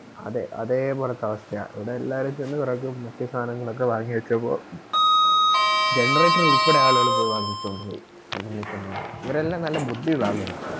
അതെ അതേപോലത്തെ അവസ്ഥയാ ഇവിടെ എല്ലാവരും ചെന്ന് കൊറേ വാങ്ങി വെചെക്കുവാ Generator ഉൾപ്പെടെ ആളുകള് പോയി വാങ്ങിച്ചോണ്ട് പോയി ഇവരെല്ലാം നല്ല ബുദ്ധിയുള്ള ആളുകള